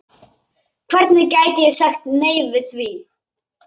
Hvernig gæti ég sagt nei við því?